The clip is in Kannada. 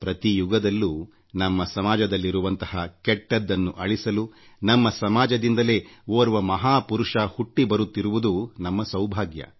ಪ್ರತಿ ಯುಗದಲ್ಲೂನಮ್ಮ ಸಮಾಜದಲ್ಲಿರುವಂಥ ಕೆಟ್ಟದ್ದನ್ನು ನಿವಾರಿಸಲು ನಮ್ಮ ಸಮಾಜದಿಂದಲೇ ಮಹಾ ಪುರುಷರು ಹುಟ್ಟಿ ಬರುತ್ತಿರುವುದು ನಮ್ಮ ಸೌಭಾಗ್ಯ